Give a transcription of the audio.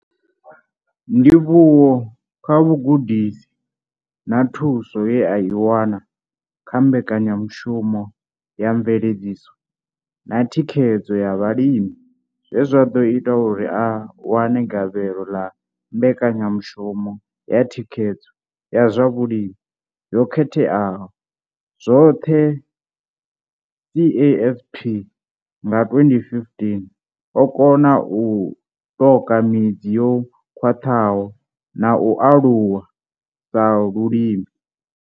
Ndivhuwo kha vhugudisi na thuso ye a i wana kha Mbekanyamushumo ya Mveledziso na Thikhedzo ya Vhalimi zwe zwa ḓo ita uri a wane gavhelo ḽa Mbekanyamushumo ya Thikhedzo ya zwa Vhulimi yo Katelaho zwoṱhe, CASP nga 2015, o kona u ṱoka midzi yo khwaṱhaho na u aluwa sa mulimi.